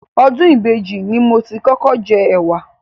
Ọdún ìbejì ni mo ti kọ́kọ́ jẹ ẹ̀wà.